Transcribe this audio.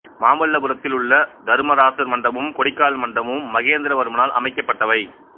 மாமல்லபுரத்தில் உள்ள தருமராசர் மண்டபமும் கொடிக்கால் மண்டபமும் மகேந்திரவர்மனால் அமைக்கப்பட்டவை